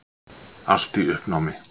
Allt í uppnámi.